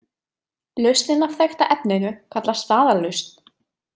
Lausnin af þekkta efninu kallast staðallausn.